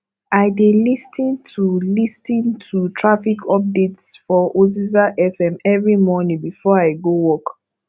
i dey lis ten to lis ten to traffic updates for oziza fm every morning before i go work